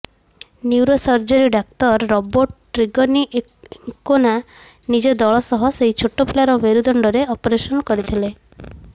neurosurgery ଡାକ୍ତର Roberto Trignani Ancona ନିଜ ଦଳ ସହ ସେହି ଛୋଟ ପିଲାର ମେରୁଦଣ୍ଡରେ ଅପରେଶନ କରିଥିଲେ